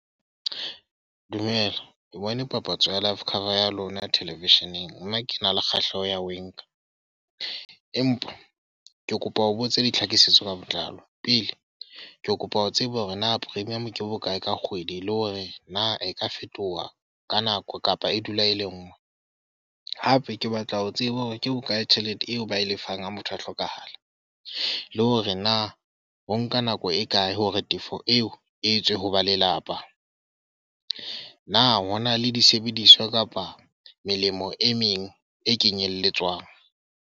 Dumela. Ke bone papatso ya life cover ya lona television-eng. Mme ke na le kgahleho ya ho e nka. Empa ke kopa ho botsa ditlhakisetso ka botlalo. Pele ke kopa ho tseba hore na premium ke bokae ka kgwedi le hore na e ka fetoha ka nako kapa e dula e le nngwe? Hape ke batla ho tseba hore ke bokae tjhelete eo ba e lefang ha motho a hlokahala? Le hore na ho nka nako e kae hore tefo eo e tswe ho ba lelapa? Na ho na le disebediswa kapa melemo e meng e kenyelletswang?